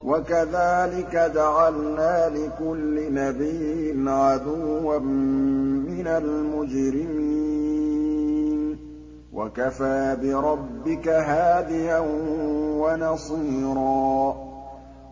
وَكَذَٰلِكَ جَعَلْنَا لِكُلِّ نَبِيٍّ عَدُوًّا مِّنَ الْمُجْرِمِينَ ۗ وَكَفَىٰ بِرَبِّكَ هَادِيًا وَنَصِيرًا